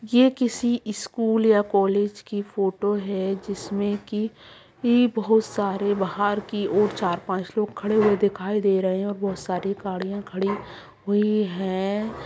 ये किसी इस्कूल या कोलेज की फोटो है जिसमें की इ बहोत सारे बाहर की ओर चार पांच लोग खड़े हुए दिखाई दे रहे हैं और बहोत सारी गाड़िया खड़ी हुई हेैं ।